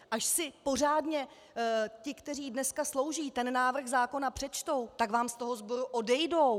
Až si pořádně ti, kteří dneska slouží, ten návrh zákona přečtou, tak vám z toho sboru odejdou!